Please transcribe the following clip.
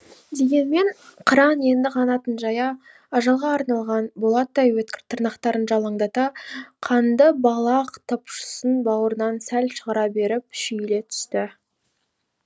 дегенмен қыран енді қанатын жая ажалға арналған болаттай өткір тырнақтарын жалаңдата қанды балақ топшысын бауырынан сәл шығара беріп шүйіле түсті